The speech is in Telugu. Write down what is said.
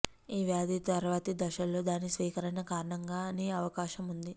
ఈ వ్యాధి తర్వాతి దశలలో దాని స్వీకరణ కారణంగా అని అవకాశం ఉంది